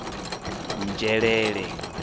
nzhelele